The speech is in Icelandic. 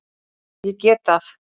Ég get það.